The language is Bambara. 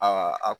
Aa